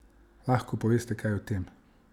Lahko poveste kaj o tem?